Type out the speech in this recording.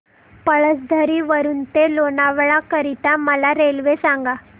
पळसधरी वरून ते लोणावळा करीता मला रेल्वे सांगा